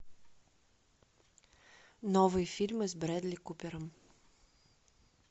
новые фильмы с брэдли купером